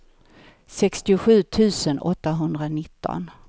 sextiosju tusen åttahundranitton